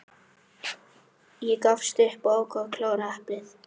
Ég gafst upp og ákvað að klára eplið.